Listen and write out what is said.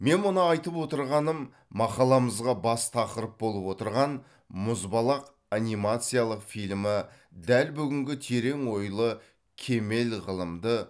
мен мұны айтып отырғаным мақаламызға бас тақырып болып отырған мұзбалақ анимациялық фильмі дәл бүгінгі терең ойлы кемел ғылымды